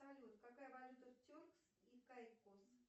салют какая валюта в теркс и кайкос